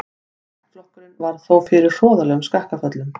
Ættflokkurinn varð þó fyrir hroðalegum skakkaföllum.